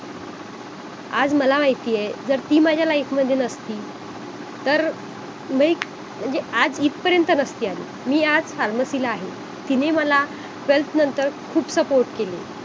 आज मला माहिती आहे जर ती माझ्या life मध्ये नसती तरं like म्हणजे आज इथपर्यंत नसती आली मी आज pharmacy ला आहे तिने मला self नंतर खूप support केले